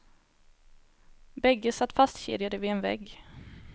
Bägge satt fastkedjade vid en vägg.